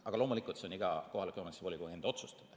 Aga loomulikult on see iga kohaliku omavalitsuse volikogu enda otsustada.